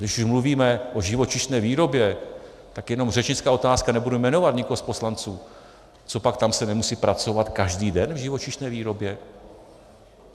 Když už mluvíme o živočišné výrobě, tak jenom řečnická otázka, nebudu jmenovat nikoho z poslanců: Copak tam se nemusí pracovat každý den, v živočišné výrobě?